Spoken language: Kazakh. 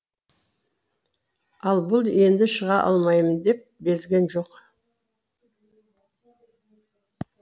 ал бұл енді шыға алмайым деп безген жоқ